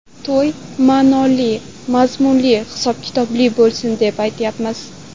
To‘y ma’noli, mazmunli, hisob-kitobli bo‘lsin deb aytyapmiz.